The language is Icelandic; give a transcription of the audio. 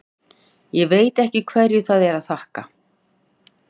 Ég veit ekki hverju það er að þakka.